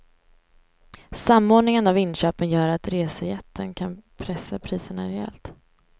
Samordningen av inköpen gör att resejätten kan pressa priserna rejält.